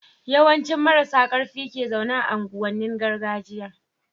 yawan ci marasa karfin ke zaune a unguwan nin gargajiya